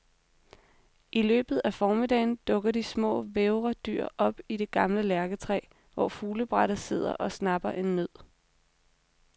I løbet af formiddagen dukker de små, vævre dyr op i det gamle lærketræ, hvor fuglebrættet sidder og snapper en nød.